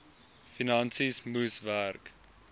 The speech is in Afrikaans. finansies moes werk